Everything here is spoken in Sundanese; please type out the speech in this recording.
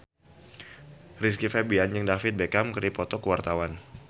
Rizky Febian jeung David Beckham keur dipoto ku wartawan